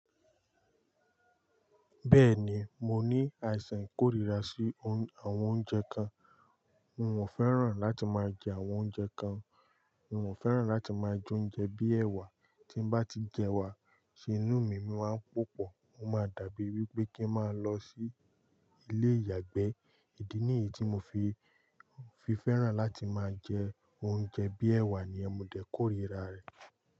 Bẹ́ẹ̀ni, mo ní àìsàn ikórira sí àwọn oúnjẹ kan. N ò fẹ́ràn láti máa jẹ àwọn oúnjẹ kan. Mi ò fẹ́ràn láti máa jẹ oúnjẹ bíi ẹwà. Tín bá ti jẹ ẹwà, ṣé ni inú mi máa ń pòpọ̀. O máa dàbí wípé kín máa lọ sí ilé ìyàgbẹ́. Idi nìyí tí mo fi fi fẹ́ràn láti máa jẹ oúnjẹ bíi ẹ̀wà niyen. Mo dẹ̀ kórira rẹ̀